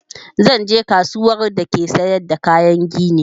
Zan je kasuwar da ake siyar da kayan gini